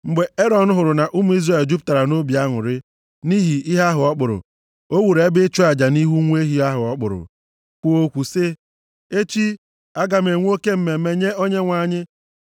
Mgbe Erọn hụrụ na ụmụ Izrel jupụtara nʼobi aṅụrị, nʼihi ihe ahụ ọ kpụrụ, o wuru ebe ịchụ aja nʼihu nwa ehi ahụ ọ kpụrụ, kwuo okwu sị, “Echi, a ga-enwe oke mmemme nye Onyenwe anyị!”